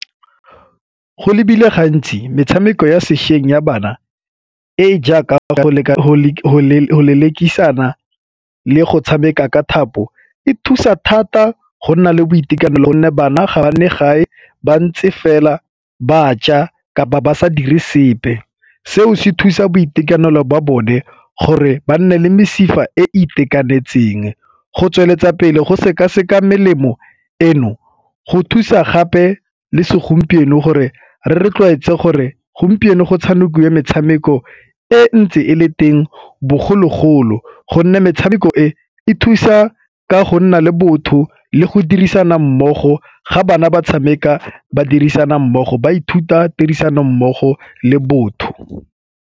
Go lebilwe gantsi metshameko ya sešweng ya bana e jaaka lelekisana le go tshameka ka thapo e thusa thata go nna le boitekanelo gonne banna ga ba nne gae ba ntse fela ba ja kapa ba sa dire sepe. Seo se thusa boitekanelo ba bone gore ba nne le mesifa e e itekanetseng. Go tsweletsa pele go sekaseka melemo eno go thusa gape le segompieno gore re tlwaetse gore gompieno go tshamekiwa metshameko e ntse e le teng bogologolo gonne metshameko e e thusa ka go nna le botho le go dirisana mmogo ga bana ba tshameka ba dirisana mmogo ba ithuta tirisanommogo le botho.